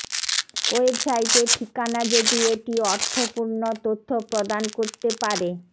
ওয়েবসাইটের ঠিকানা যদি এটি অর্থপূর্ণ তথ্য প্রদান করতে পারে